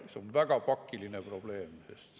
See on väga pakiline probleem.